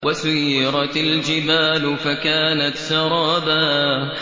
وَسُيِّرَتِ الْجِبَالُ فَكَانَتْ سَرَابًا